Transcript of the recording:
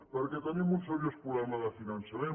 perquè tenim un seriós problema de finançament